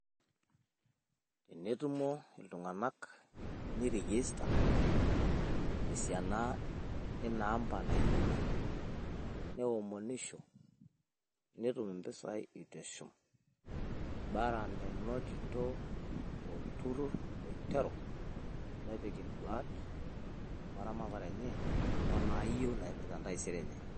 Tenetumo iltung`anak neiregister te siana ina, amba nayieuni neomonisho netum impisai itesho. Bora menoto olturrur oiteru nepik in`duat o ramatare enye o naayieu naipirta entaisere enye.